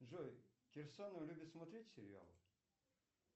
джой кирсанов любит смотреть сериал